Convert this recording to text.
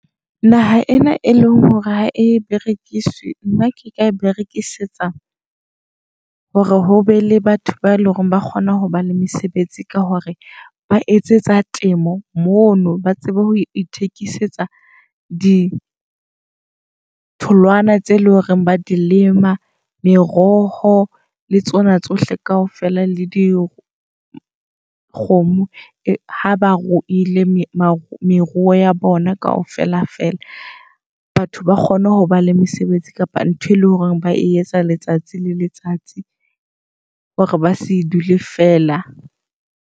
Naha ena e leng hore ha e berekiswe, nna ke ka e berekisetsa hore ho be le batho ba eleng hore ba kgona ho ba le mesebetsi. Ka ho ba etsetsa temo mono ba tsebe ho ithekisetsa ditholwana tse e leng hore ba di lema. Meroho le tsona tsohle kaofela le di kgomo ha ba ruile meruo ya bona kaofela fela. Batho ba kgone hoba le mesebetsi, kapa ntho e leng hore ba e etsa letsatsi le letsatsi hore ba se dule feela.